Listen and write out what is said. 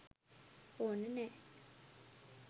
ඕන නෑ.